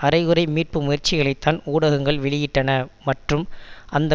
அரைகுறை மீட்பு முயற்சிகளைத்தான் ஊடகங்கள் வெளியிட்டன மற்றும் அந்த